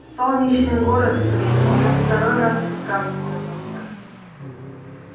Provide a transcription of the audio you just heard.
солнечный город блин уже второй раз с утра вспомнился